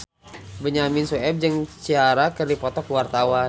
Benyamin Sueb jeung Ciara keur dipoto ku wartawan